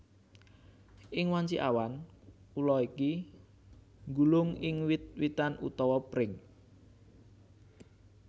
Ing wanci awan ula iki nggulung ing wit witan utawa pring